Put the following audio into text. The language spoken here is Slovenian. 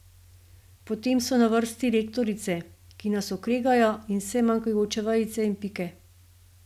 Potem so na vrsti lektorice, ki nas okregajo za vse manjkajoče vejice in pike.